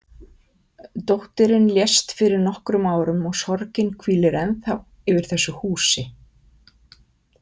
Dóttirin lést fyrir nokkrum árum og sorgin hvílir ennþá yfir þessu húsi.